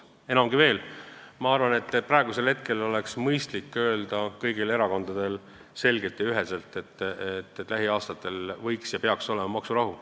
Enamgi veel, ma arvan, et praegu oleks mõistlik kõigil erakondadel öelda selgelt ja üheselt: lähiaastatel peaks olema maksurahu.